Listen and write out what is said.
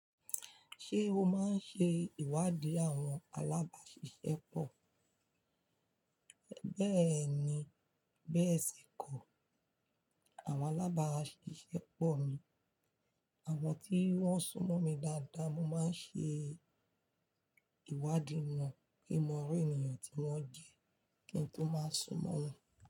Ṣé o máa ń ṣe ìwádìí àwọn alábàáṣiṣẹ́ pọ̀? Bẹẹni, bẹ́ẹ̀ sì kọ́. Àwọn alábàáṣiṣẹ́pọ̀ mi, àwọn tí wọ́n súnmọ́ mi dáadáa, mo máa ń ṣe ìwádìí wọn kí n mọ iru ènìyàn tí wọ́n jẹ́ kí n tó máa súnmọ́ wọn.